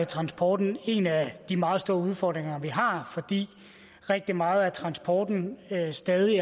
transporten en af de meget store udfordringer vi har fordi rigtig meget af transporten stadig